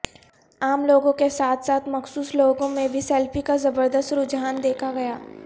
عام لوگوں کے ساتھ ساتھ مخصوص لوگوں میں بھی سیلفی کا زبردست رجحان دیکھا گیا